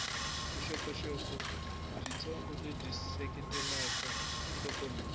vuxokoxoko byitsongo lebyi seketela nhlokomhaka